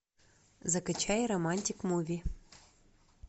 закачай романтик муви